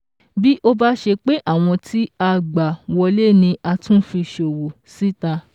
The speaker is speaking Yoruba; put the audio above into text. Bí ó bá ṣe pé àwọn tí a gbà wọlé ni a tún fi ṣọwọ́ síta